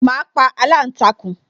Ma pa aláǹtakùn